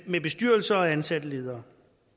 med bestyrelser og ansatte ledere